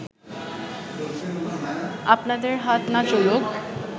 আপনাদের হাত না চলুক